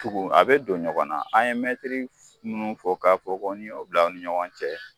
Tugu an bɛ don ɲɔgɔn na , n'i mɛntiri ninnu fɔ k'a fɔ ko n'i y'o bila u ni ɲɔgɔn cɛ